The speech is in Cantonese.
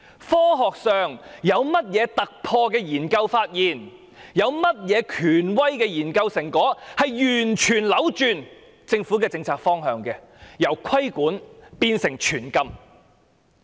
科學上有甚麼突破性的研究，有甚麼權威的研究成果，足以完全扭轉政府的政策方向，由作出規管變成全面禁止？